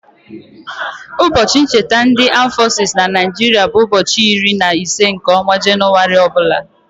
Ụbọchị ncheta ndị aam fọsis na Naịjiria bụ ụbọchị iri na ise nke ọnwa Jenụwarị ọbụla.